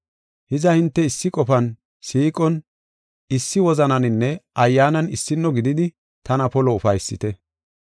Hiza, hinte issi qofan, siiqon, issi wozananinne ayyaanan issino gididi tana polo ufaysite.